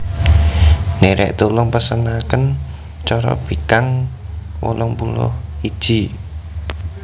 Ndherek tulung pesenaken corobikang wolong puluh iji